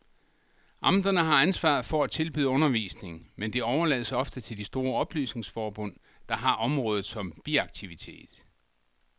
Amterne har ansvaret for at tilbyde undervisning, men det overlades ofte til de store oplysningsforbund, der har området som biaktivitet.